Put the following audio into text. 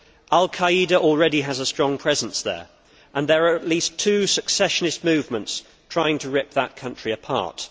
Al Qa'ida already has a strong presence there, and there are at least two secessionist movements trying to rip the country apart.